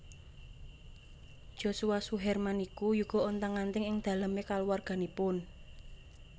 Joshua Suherman niku yuga ontang anting ing dalem e kaluwarganipun